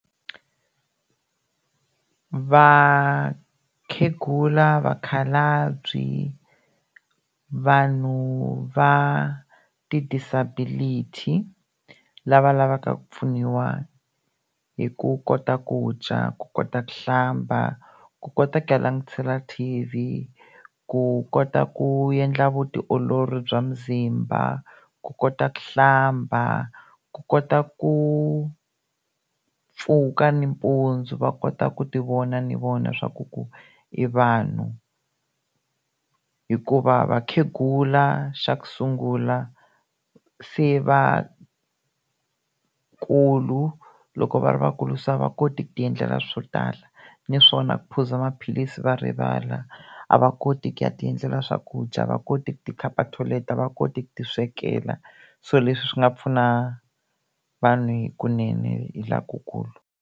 Vakhegula, vakhalabyi vanhu va ti-disability lava lavaka ku pfuniwa hi ku kota ku dya, ku kota ku hlamba, ku kota ku ya langutisela T_V, ku kota ku endla vutiolori bya muzimba, ku kota ku hlamba, ku kota ku pfuka nampundzu va kota ku ti vona ni vona swaku ku i vanhu hikuva vakhegula xa ku sungula se va kulu loko va ri vakulu se a va koti ku ti endlela swo tala naswona ku phuza maphilisi va rivala a va koti ku ya ti endlela swakudya, va koti tikhapa toilet, a va koti ku ti swekela so leswi swi nga pfuna vanhu hikunene hi lokukulu.